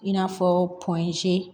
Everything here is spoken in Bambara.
I n'a fɔ